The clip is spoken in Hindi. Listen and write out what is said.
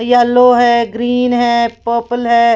येलो है ग्रीन है पर्पल है।